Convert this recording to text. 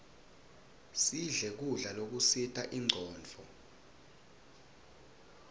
sidle kudla lokusita incondvo